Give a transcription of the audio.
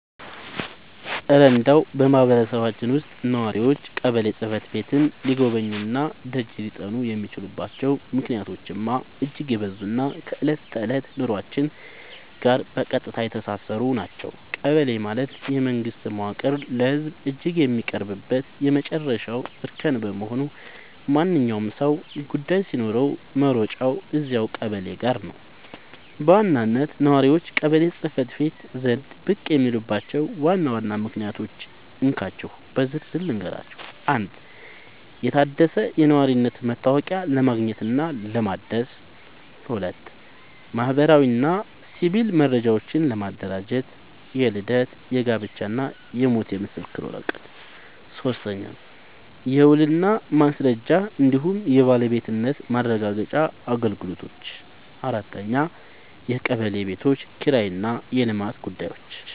እረ እንደው በማህበረሰባችን ውስጥ ነዋሪዎች ቀበሌ ጽሕፈት ቤትን ሊጎበኙና ደጅ ሊጠኑ የሚችሉባቸው ምክንያቶችማ እጅግ የበዙና ከዕለት ተዕለት ኑሯችን ጋር በቀጥታ የተሳሰሩ ናቸው! ቀበሌ ማለት የመንግስት መዋቅር ለህዝቡ እጅግ የሚቀርብበት የመጨረሻው እርከን በመሆኑ፣ ማንኛውም ሰው ጉዳይ ሲኖረው መሮጫው እዚያው ቀበሌው ጋ ነው። በዋናነት ነዋሪዎች ቀበሌ ጽ/ቤት ዘንድ ብቅ የሚሉባቸውን ዋና ዋና ምክንያቶች እንካችሁ በዝርዝር ልንገራችሁ፦ 1. የታደሰ የነዋሪነት መታወቂያ ለማግኘትና ለማደስ 2. ማህበራዊና ሲቪል መረጃዎችን ለማደራጀት (የልደት፣ የጋብቻና የሞት ምስክር ወረቀት) 3. የውልና ማስረጃ እንዲሁም የባለቤትነት ማረጋገጫ አገልግሎቶች 4. የቀበሌ ቤቶች ኪራይና የልማት ጉዳዮች